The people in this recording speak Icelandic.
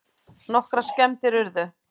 Nokkrar skemmdir urðu